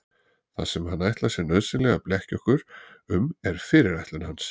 Það sem hann ætlar sér nauðsynlega að blekkja okkur um er fyrirætlun hans.